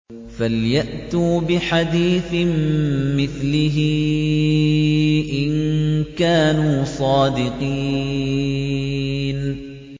فَلْيَأْتُوا بِحَدِيثٍ مِّثْلِهِ إِن كَانُوا صَادِقِينَ